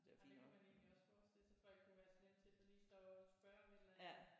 Ja men det kunne man egentlig også forestille sig folk kunne være slemme til så lige stoppe op og spørge om et eller andet